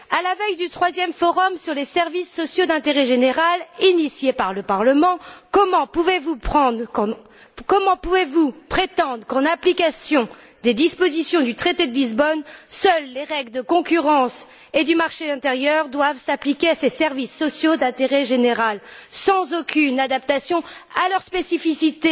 À la veille du troisième forum sur les services sociaux d'intérêt général, initié par le Parlement, comment pouvez vous prétendre qu'en application des dispositions du traité de Lisbonne, seules les règles de concurrence et du marché intérieur doivent s'appliquer à ces services sociaux d'intérêt général, sans aucune adaptation à leur spécificité